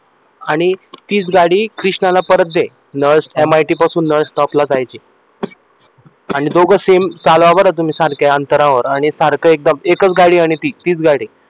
आणि तीच गाडी कृष्णाला परत दे MIT पासून नळ stop ला जायची आणि दोघे same चालवा बरे सारखे अंतरावर सारखे आणि एकच गाडी आहे आणि ती तीच गाडी आहे.